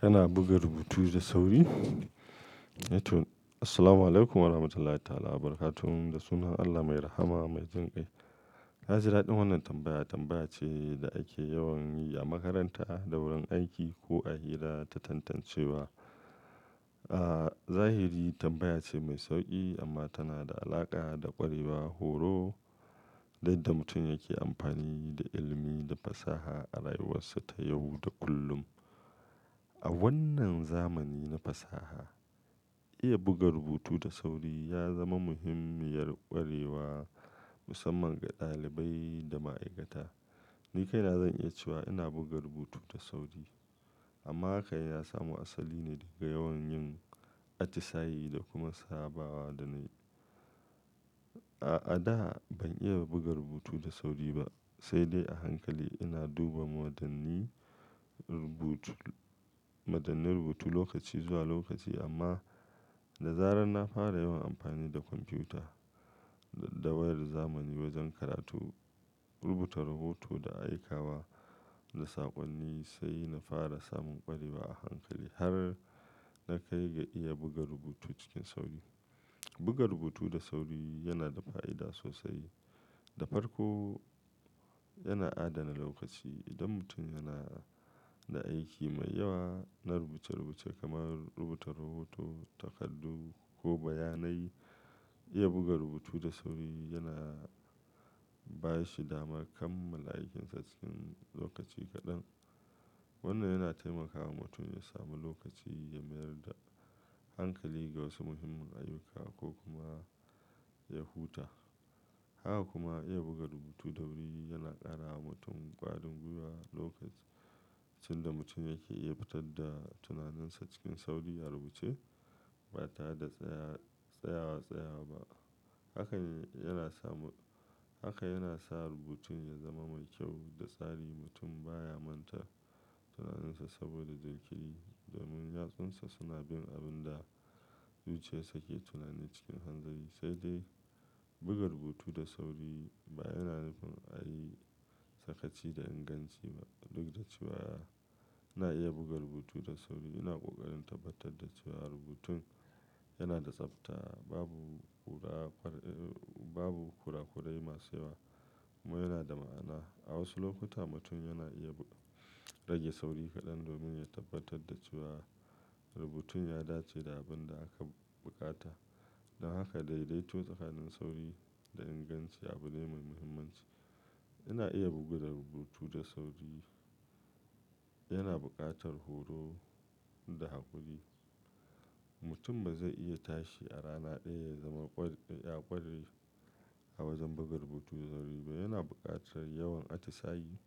Kana buga rubutu da sauri? Ehto-- Assalamualaikum Warahmatullahi Wabarakatuh. Da sunan Allah mai rahama, mai jin kai. Hajira, din wannan tambaya, tambaya ce da ake yawan yi a makaranta, da wurin aiki ko a hira ta tantancewa. A zahiri tambaya ce mai sauki amma tana da alaƙa da ƙwarewa, horo, da yadda mutum yake amfani da ilimi da fasaha a rayuwarsa ta yau da kullum. A wannan zamani na fasaha, iya buga rubutu da sauri ya zama muhimmiyar ƙwarewa, musamman ga ɗalibai da ma'aikata. Ni kaina zan iya cewa ina buga rubutu da sauri, amma haka ya samu asali ne daga yawan yin atisayi da kuma sabawa da na yi. A, a da ban iya buga rubutu da sauri ba, sai dai a hankali ina duba madannii rubutu, madannin rubutu lokaci zuwa lokaci. Amma da zarar na fara yawan amfani da kwamfuta da wayar zamani wajen karatu, rubuta rahoto, da aika wa da saƙonni, sai na fara samun ƙwarewa a hankali har na kai ga iya buga rubutu cikin sauri. Buga rubutu da sauri yana da fa'ida sosai. Da farko, yana adana lokaci. Idan mutum yana da aiki mai yawa na rubuce-rubuce kamar rubuta rahoto, takardu ko bayanai, iya buga rubutu da sauri yana ba shi dama kammala aikinsa cikin lokaci kaɗan. Wannan yana taimakawa mutum ya sami lokaci ya mayar da hankali ga wasu muhimman ayyuka ko kuma ya huta. Haka kuma, iya buga rubutu da wuri yana ƙara wa mutum ƙwarin gwiwa. Lokacin da mutum yake iya fitar da tunaninsa cikin sauri a rubuce, ba ta da tsaya, tsayawa tsaya ba. Haka ne yana samu, haka yana sa rubutun ya zama mai kyau da tsari. Mutum baya manta tunaninsa saboda jinkiri domin yatsunsa suna bin abin da zuciyarsa ke tunani cikin hanzari. Sai dai buga rubutu da sauri ba yana nufin a yi sakaci da inganci ba. Duk da cewa ina iya buga rubutu da sauri, ina ƙoƙarin tabbatar da cewa rubutun yana da tsabta, babu kura, babu kurakurai masu yawa kuma yana da ma'ana. A wasu lokuta, mutum yana iya rage sauri kaɗan domin ya tabbatar da cewa rubutun ya dace da abin da aka buƙata. Don haka daidaito tsakanin sauri da inganci abu ne mai muhimmanci. Ina iya bugu da rubutu da sauri yana buƙatar horo da haƙuri. Mutum ba zai iya tashi a rana ɗaya ya zama ƙware, ya ƙware a wajen buga rubutu da sauri ba. Yana buƙatar yawan atisayi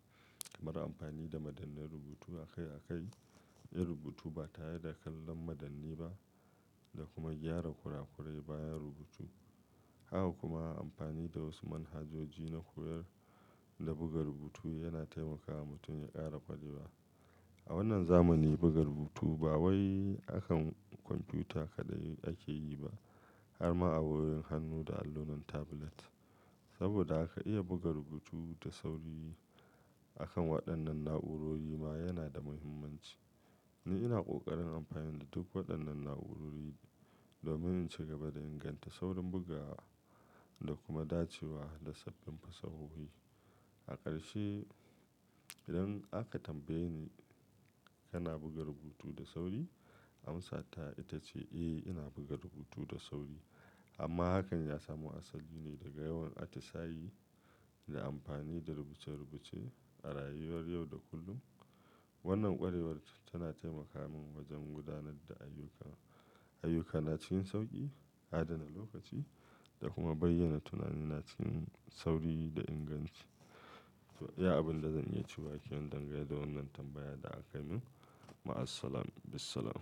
kamar amfani da madannai rubutu a kai a kai. Yi rubutu ba tare da kallon madanni ba da kuma gyara kurakurai bayan rubutu. Haka kuma amfani da wasu manhajoji na koyar da buga rubutu yana taimakawa mutum ya ƙara ƙwarewa. A wannan zamani, buga rubutu ba wai akan kwamfuta kaɗai ake yi ba, har ma a wayoyin hannu da allunan tablet. Saboda haka iya buga rubutu da sauri akan waɗannan na'urori ma yana da muhimmanci. Ni ina ƙoƙarin amfani da duk waɗannan na'urori domin in ci gaba da inganta saurin bugawa da kuma dacewa da sabbin fasahohi. A ƙarshe, idan aka tambaye ni, "Kana buga rubutu da sauri?" Amsa ta ita ce, "Eh, ina buga rubutu da sauri." Amma hakan ya samu asali ne daga yawan atisayi da amfani da rubuce-rubuce a rayuwar yau da kullum. Wannan ƙwarewar tana taimakawa min wajen gudanar da ayyuka, ayyukana cikin sauƙi, adana lokaci da kuma bayyana tunanina cikin sauri da inganci. To, iya abin da zan iya cewa ake dangane da wannan tambaya da akai min. Ma Assalam, Bisalam.